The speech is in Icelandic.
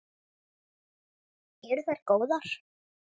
Heimir: Eru þær góðar?